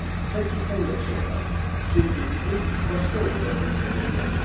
Tək ki, sən yaşayasan, çünki bizim başqa oğullarımız da doğula bilər.